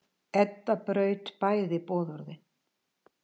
Edda braut bæði boðorðin.